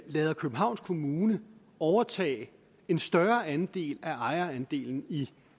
lader københavns kommune overtage en større andel af ejerandelen i